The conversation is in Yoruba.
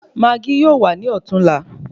Maágí yóò wà ní ọ̀tún la